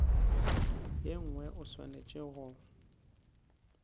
ye nngwe o swanetše go